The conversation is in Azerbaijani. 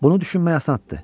Bunu düşünmək asandır.